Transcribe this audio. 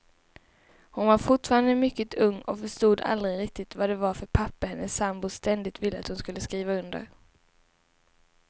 Hon var fortfarande mycket ung och förstod aldrig riktigt vad det var för papper hennes sambo ständigt ville att hon skulle skriva under.